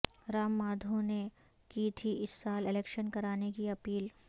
رام مادھونے کی تھی اس سال الیکشن کرانے کی اپیل